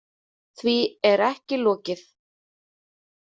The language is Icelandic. Því er ekki lokið.